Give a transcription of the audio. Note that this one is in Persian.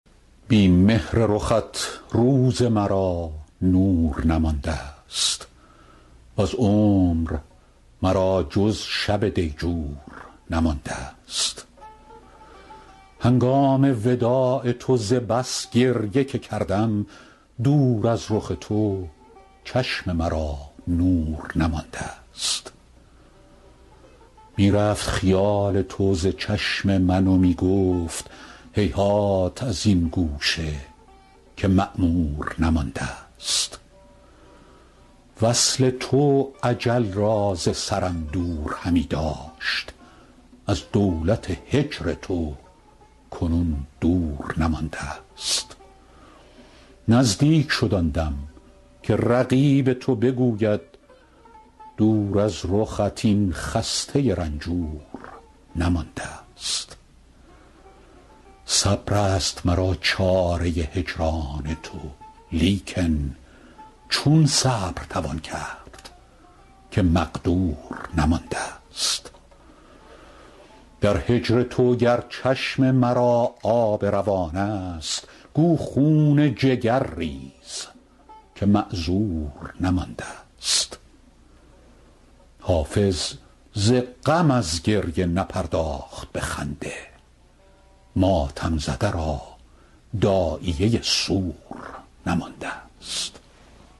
بی مهر رخت روز مرا نور نماندست وز عمر مرا جز شب دیجور نماندست هنگام وداع تو ز بس گریه که کردم دور از رخ تو چشم مرا نور نماندست می رفت خیال تو ز چشم من و می گفت هیهات از این گوشه که معمور نماندست وصل تو اجل را ز سرم دور همی داشت از دولت هجر تو کنون دور نماندست نزدیک شد آن دم که رقیب تو بگوید دور از رخت این خسته رنجور نماندست صبر است مرا چاره هجران تو لیکن چون صبر توان کرد که مقدور نماندست در هجر تو گر چشم مرا آب روان است گو خون جگر ریز که معذور نماندست حافظ ز غم از گریه نپرداخت به خنده ماتم زده را داعیه سور نماندست